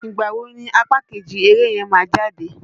Ìgbà wo ni apá kejì eré yẹn má jáde?